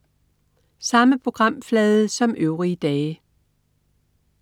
Samme programflade som øvrige dage